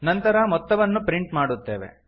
ನಂತರ ಮೊತ್ತವನ್ನು ಪ್ರಿಂಟ್ ಮಾಡುತ್ತೇವೆ